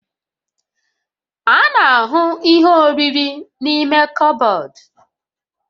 A na-ahụ ihe oriri n'ime kọbọd